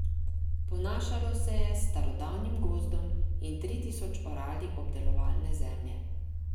Ponašalo se je s starodavnim gozdom in tri tisoč orali obdelovalne zemlje.